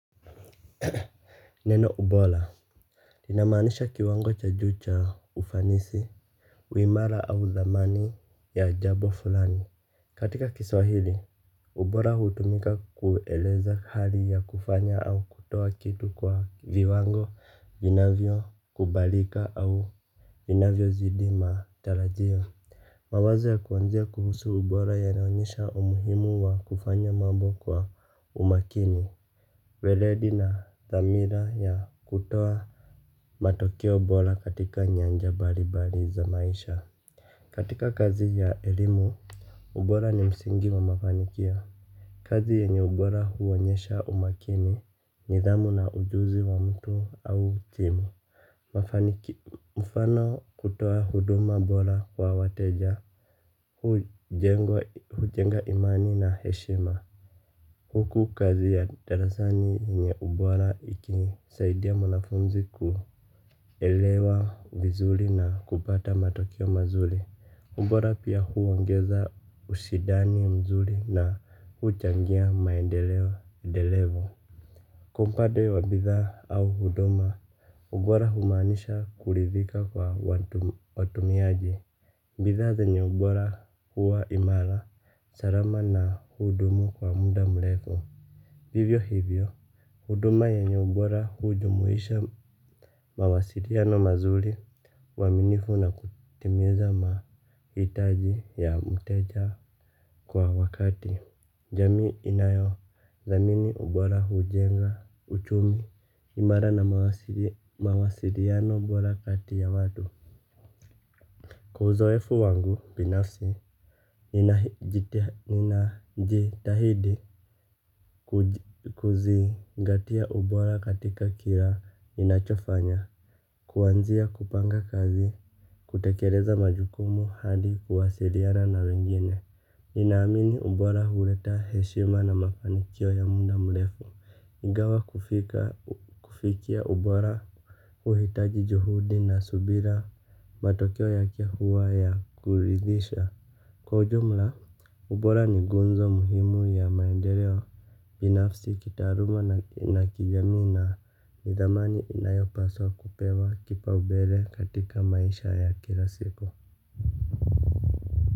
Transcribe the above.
Neno ubola linamaanisha kiwango cha juu cha ufanisi uimara au dhamani ya jabo fulani. Katika kiswahili, ubola hutumika kueleza hali ya kufanya au kutoa kitu kwa viwango vinavyo kubalika au vinavyo zidi matarajio. Mawazo ya kuanzia kuhusu ubola yanaonyesha umuhimu wa kufanya mambo kwa umakini. Weledi na dhamira ya kutoa matokeo bola katika nyanja bali bali za maisha. Katika kazi ya elimu ubora ni msingi wa mafanikio. Kazi yenye ubora huonyesha umakini nidhamu na ujuzi wa mtu au timu. Mfano kutoa huduma bola kwa wateja hujenga imani na heshima. Huku kazi ya darasani yenye ubola ikisaidia mwanafunzi kuelewa vizuli na kupata matokeo mazuli. Ubora pia huongeza usidani mzuli na uchangia maendeleo delevo. Kwa mpade wa bithaa au huduma, ubora humaanisha kulithika kwa watumiaji. Bithaa zenye ubora huwa imala, sarama na hudumu kwa muda mlefu. Hivyo hivyo, huduma yenye ubora hujumuisha mawasiriano mazuli uaminifu na kutimiza mahitaji ya mteja kwa wakati. Jamii inayo thamini ubora hujenga uchumi imara na mawasiliano bora kati ya watu. Kwa uzoefu wangu, binafsi, ninajitahidi kuzingatia ubora katika kila ninachofanya. Kuanzia kupanga kazi, kutekereza majukumu hadi kuwasiriana na wengine. Ninaamini ubora huleta heshima na mafanikio ya muda mlefu. Ingawa kufikia ubora uhitaji juhudi na subira, matokeo yake huwa ya kuridhisha. Kwa ujumla, ubora ni gunzo muhimu ya maendeleo. Binafsi kitaaruma na kijamii na nidhamani inayopaswa kupewa kipaubele katika maisha ya kila siku.